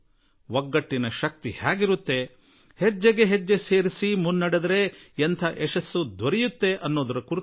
ಏಕತೆಯ ತಾಕತ್ತು ಏನು ಕೂಡಿಕೊಂಡು ನಡೆದರೆ ಅದೆಷ್ಟು ದೊಡ್ಡ ಪರಿಣಾಮ ಉಂಟಾಗುತ್ತದೆ